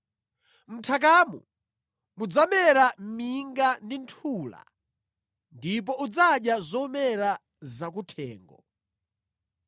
Mʼnthakamo mudzamera minga ndi nthula ndipo udzadya zomera zakuthengo.